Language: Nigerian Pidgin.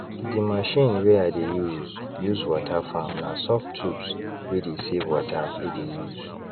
the machine wey i dey use use water farm na soft tubes wey dey save water e dey use